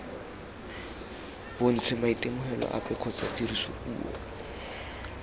bontshe maitemogelo ape kgotsa tirisopuo